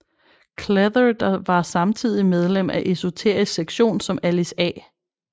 Cleather der var samtidig medlem af Esoterisk Sektion som Alice A